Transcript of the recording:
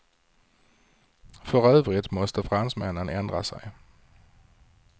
För övrigt måste fransmännen ändra sig.